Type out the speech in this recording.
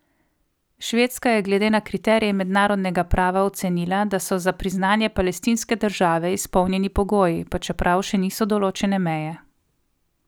Švedska je glede na kriterije mednarodnega prava ocenila, da so za priznanje palestinske države izpolnjeni pogoji, pa čeprav še niso določene meje.